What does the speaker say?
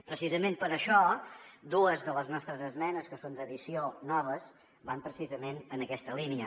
precisament per això dues de les nostres esmenes que són d’addició noves van en aquesta línia